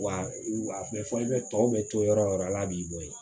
Wa a tun bɛ fɔli kɛ tɔw bɛ to yɔrɔ o yɔrɔ ala b'i bɔ yen